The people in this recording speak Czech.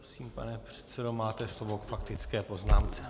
Prosím, pane předsedo, máte slovo k faktické poznámce.